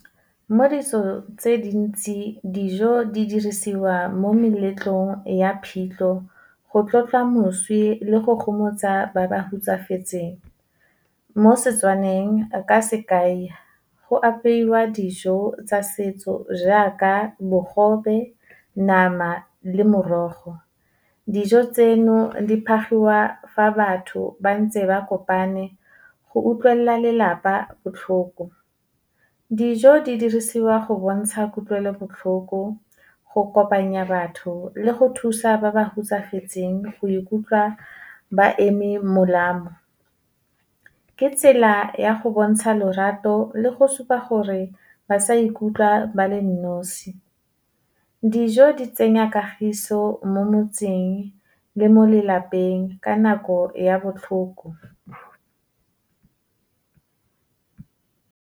Mo ditso tse dintsi, dijo di dirisiwa mo meletlong ya phitlho, go tlotla moswi le le go gomotsa ba ba hutsafetseng. Mo Setswaneng ka sekai, go apeiwa dijo tsa setso jaaka bogobe, nama le morogo. Dijo tseno, di fa batho ba ntse ba kopane, go utlwelela lelapa botlhoko. Dijo di dirisiwa go bontsha kutlwelobotlhoko, go kopanya batho, le go thusa ba ba hutsafetseng go ikutlwa ba eme molama. Ke tsela ya go bontsha lorato le go supa gore ba sa ikutlwa ba le nosi. Dijo di tsenya kagiso mo motseng, le mo lelapeng ka nako ya botlhoko.